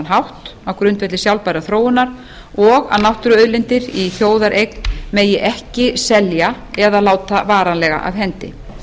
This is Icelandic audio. hátt á grundvelli sjálfbærrar þróunar og að náttúruauðlindir í þjóðareign megi ekki selja eða láta varanlega af hendi